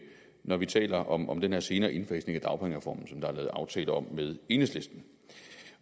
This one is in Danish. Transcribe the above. når vi taler om om den senere indfasning af dagpengereformen som der er lavet aftale om med enhedslisten